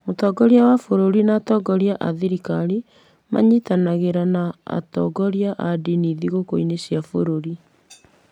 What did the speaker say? Mũtongoria wa bũrũri na atongoria a thirikari manyitanagĩra na atongoria a ndini thigũkũ-inĩ cia bũrũri.